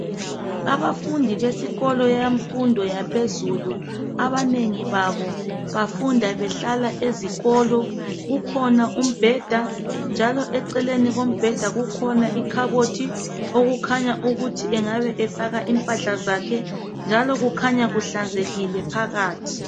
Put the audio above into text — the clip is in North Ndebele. Abafundi besikolo yemfundo yaphezulu abanengi babo bafunda behlala ezikolo. Kukhona umbheda, njalo eceleni kombheda kukhona ikhabothi okukhanya ukuthi engabe efaka impahla zakhe njalo kukhanya kuhlanzekile phakathi.